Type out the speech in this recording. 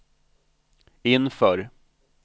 inför